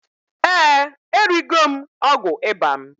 Eeǃ Erigo m ọgwụ ịba m.